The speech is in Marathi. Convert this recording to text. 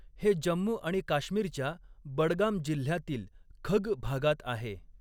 हे जम्मू आणि काश्मीरच्या बडगाम जिल्ह्यातील खग भागात आहे.